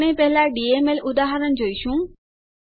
આપણે પહેલા ડીએમએલ ઉદાહરણ જોઈશું